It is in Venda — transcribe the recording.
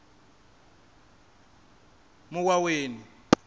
muwaweni